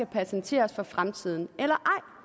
patenteres for fremtiden